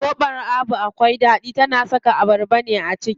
Zobon Abu akwai ɗaɗi, tana saka abarba ne a ciki.